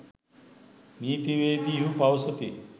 නීතිවේදීහු පවසති.